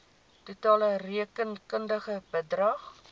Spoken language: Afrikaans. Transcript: totale rekenkundige bedrag